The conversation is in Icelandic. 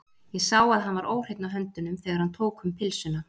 Ég sá að hann var óhreinn á höndunum, þegar hann tók um pylsuna.